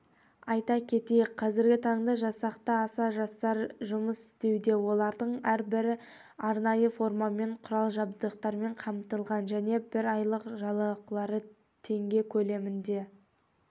айта кетейік қазіргі таңда жасақта аса жастар жұмыс істеуде олардың әрбірі арнайы формамен құрал-жабдықтармен қамтылған және бір айлық жалақылары теңге көлемінде